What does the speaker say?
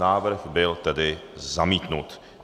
Návrh byl tedy zamítnut.